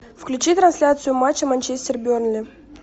включи трансляцию матча манчестер бернли